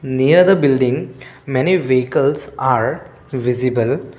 near the building many vehicles are visible.